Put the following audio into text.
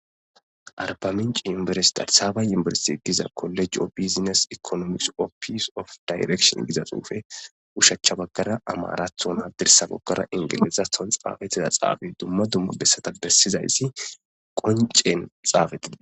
arbaminci yimberes darsabayimberesi diza kolej o bizines ekonomis o pis of dayrektion giza xuufe ushachcha baggara amarathona dirsa goggara ingilesa ton xaafetiza xaabi dumma dumma bessata bessizayssi qoncen xaafeti